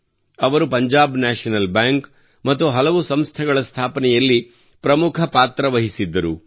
ಅವರು Punjab National Bank ಮತ್ತು ಹಲವು ಸಂಸ್ಥೆಗಳ ಸ್ಥಾಪನೆಯಲ್ಲಿ ಪ್ರಮುಖ ಪಾತ್ರ ವಹಿಸಿದ್ದರು